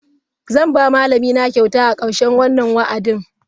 Zan ba malamina kyauta a karshen wannan wa'adin.